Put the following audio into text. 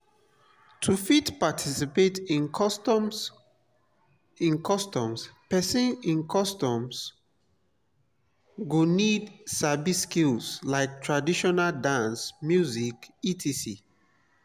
to fit participate in customs persin in customs persin go need sabi skills like traditional dance music etc